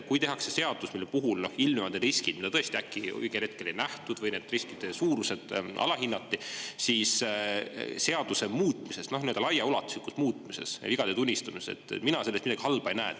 Kui tehakse seadus, mille puhul ilmnevad riskid, mida tõesti õigel hetkel ei nähtud või nende riskide suurust alahinnati, siis seaduse muutmises, ka nii-öelda laiaulatuslikus muutmises ja vigade tunnistamises mina midagi halba ei näe.